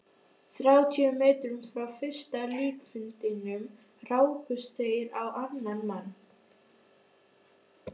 Þrjátíu metrum frá fyrsta líkfundinum rákust þeir á annan mann.